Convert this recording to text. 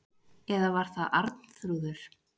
Eða var það Arnþrúður?